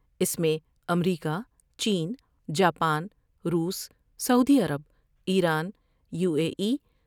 اس میں امریکہ ، چین ، جاپان ، روس ، سعودی عرب ، ایران ، یو اے ای